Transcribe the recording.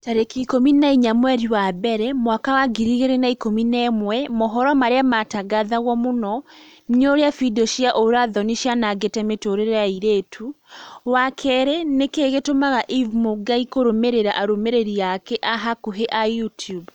tarĩki ikũmi na inya mweri wa mbere mwaka wa ngiri igĩrĩ na ikũmi na ĩmwe mohoro marĩa maratangatwo mũno ni ũrĩa findio cia ũũra-thoni cianangĩte mĩtũrĩre ya airĩtu wa kerĩ nĩkĩĩ gĩtũmaga eve mũngai kũrũmĩrĩra arũmĩrĩri ake a hakuhi a Youtube